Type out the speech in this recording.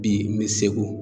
Bi n mi segu